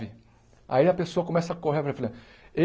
Aí a pessoa começa a correr.